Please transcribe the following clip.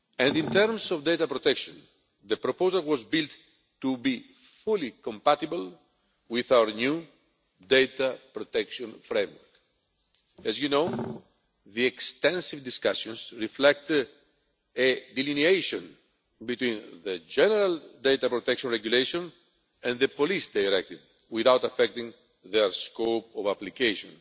In terms of data protection, the proposal was built to be fully compatible with our new data protection framework. As you know, the extensive discussions reflect a delineation between the General Data Protection Regulation and the Police Directive without affecting their scope of application.